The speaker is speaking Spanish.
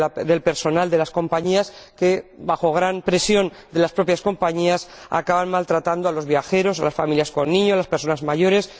del personal de las compañías que, bajo gran presión de las propias compañías, acaba maltratando a los viajeros, a las familias con niños y a las personas mayores.